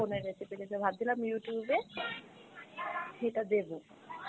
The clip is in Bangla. phone এ recipe দেখে, ভাবছিলাম Youtube এ সেটা দেব